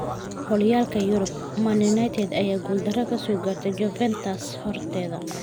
Horyalka yurib: Man United ayaa guuldarro ka soo gaartay Juventus horteeda